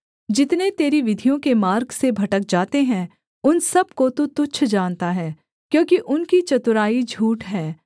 जितने तेरी विधियों के मार्ग से भटक जाते हैं उन सब को तू तुच्छ जानता है क्योंकि उनकी चतुराई झूठ है